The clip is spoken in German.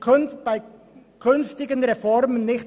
«bei künftigen Reformen […